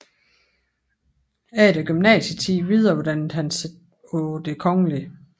Efter gymnasietiden videreuddannede han sig på Det Kgl